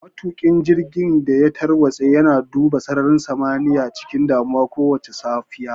Matuƙin jirgin da ya tarwatse yana duba sararin samaniya cikin damuwa kowace safiya.